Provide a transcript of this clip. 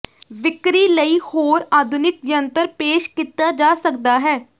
ਵਿਕਰੀ ਲਈ ਹੋਰ ਆਧੁਨਿਕ ਜੰਤਰ ਪੇਸ਼ ਕੀਤਾ ਜਾ ਸਕਦਾ ਹੈ